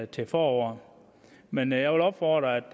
til foråret men jeg vil opfordre